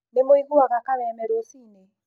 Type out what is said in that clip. nĩ mũiguaga Kameme rũũcinĩ?